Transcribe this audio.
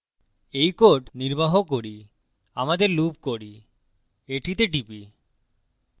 এই code নির্বাহ করি আমাদের লুপ করি এটিতে টিপি